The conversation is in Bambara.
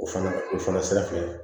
O fana o fana sira fɛ